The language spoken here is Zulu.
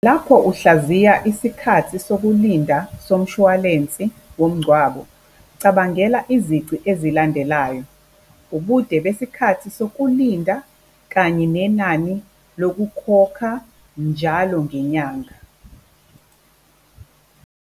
Lapho uhlaziya isikhathi sokulinda somshwalensi womngcwabo, cabangela izici ezilandelayo, ubude besikhathi sokulinda kanye nenani lokukhokha njalo ngenyanga.